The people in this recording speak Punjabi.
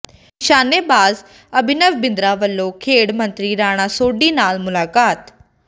ਨਿਸ਼ਾਨੇਬਾਜ਼ ਅਭਿਨਵ ਬਿੰਦਰਾ ਵੱਲੋਂ ਖੇਡ ਮੰਤਰੀ ਰਾਣਾ ਸੋਢੀ ਨਾਲ ਮੁਲਾਕਾਤ